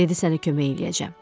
Dedi sənə kömək eləyəcəm.